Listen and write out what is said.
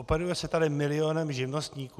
Operuje se tady milionem živnostníků.